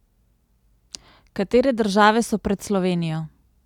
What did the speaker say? Katere države so pred Slovenijo?